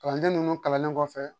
Kalanden ninnu kalannen kɔfɛ